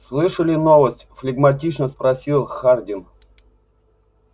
слышали новости флегматично спросил хардин